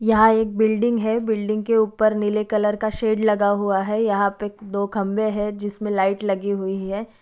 यहा एक बिल्डिंग हे बिल्डिंग के ऊपर नीले कलर का शेड लगा हुआ हे यहां पे दो खंभे हे जिसमे लाइट लगी हुई हे ।